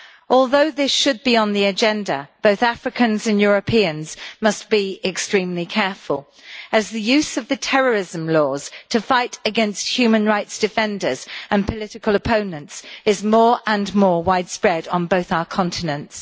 Although this should be on the agenda, both Africans and Europeans must be extremely careful, as the use of terrorism laws to fight against human rights defenders and political opponents is more and more widespread on both our continents.